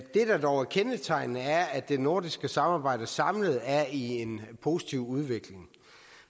det der dog er kendetegnende er at det nordiske samarbejde samlet set er i en positiv udvikling